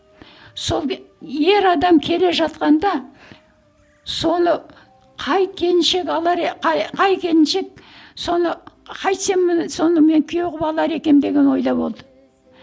сол ы ер адам келе жатқанда соны қай келіншек алар қай қай келіншек соны қайтсем мұны соны мен күйеу қылып алар екенмін деген ойда болды